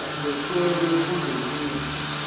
adwetshelwe kule misho